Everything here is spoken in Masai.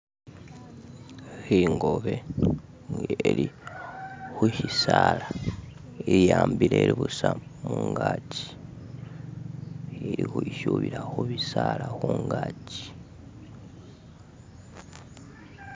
Ingobe nga ili khushisala iyambile ili khutsa mungachi ili ukhwishubila khubisala khungaki.